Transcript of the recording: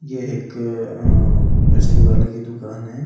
ये एक अ इस्त्री वाले की दुकान है इस --